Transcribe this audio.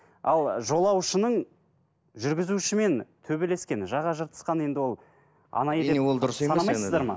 ал жолаушының жүргізушімен төбелескені жаға жыртысқаны енді ол анайы деп санамайсыздар ма